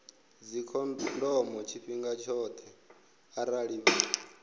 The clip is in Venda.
dzikhondomo tshifhinga tshoṱhe arali vha